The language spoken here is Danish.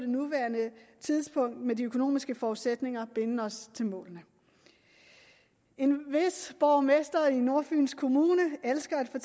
nuværende tidspunkt med de økonomiske forudsætninger binde os til målene en vis borgmester i nordfyns kommune elsker at